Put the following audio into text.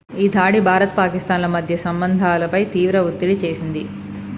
ఈ దాడి భారత్ పాకిస్థాన్ ల మధ్య సంబంధాలపై తీవ్ర ఒత్తిడి చేసింది